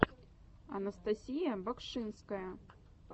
анастасия багшинская